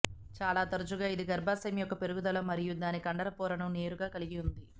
చాలా తరచుగా ఇది గర్భాశయం యొక్క పెరుగుదల మరియు దాని కండర పొరను నేరుగా కలిగి ఉంటుంది